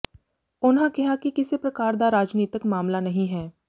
ਉਨ੍ਹਾਂ ਕਿਹਾ ਕਿ ਕਿਸੇ ਪ੍ਰਕਾਰ ਦਾ ਰਾਜਨੀਤਿਕ ਮਾਮਲਾ ਨਹੀਂ ਹੈ